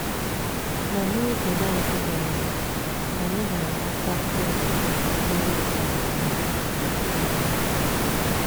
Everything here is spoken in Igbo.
Mà n’óge nà-àdíghì ànyà, à nà-àmàtà àghùghò onyè dí ótù àhù. àhù.